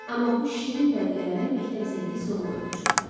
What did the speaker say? Amma bu şirin dəqiqələrə məktəb zəngi son qoyurdu çox vaxt.